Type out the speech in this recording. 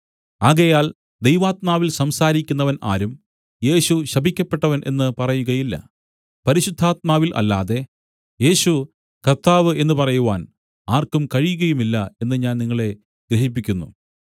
ആകയാൽ ദൈവാത്മാവിൽ സംസാരിക്കുന്നവൻ ആരും യേശു ശപിക്കപ്പെട്ടവൻ എന്ന് പറയുകയില്ല പരിശുദ്ധാത്മാവിൽ അല്ലാതെ യേശു കർത്താവ് എന്ന് പറയുവാൻ ആർക്കും കഴിയുകയുമില്ല എന്ന് ഞാൻ നിങ്ങളെ ഗ്രഹിപ്പിക്കുന്നു